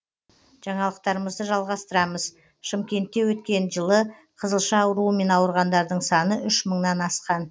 жаңалықтарымызды жалғастырамыз шымкентте өткен жылы қызылша ауруымен ауырғандардың саны үш мыңнан асқан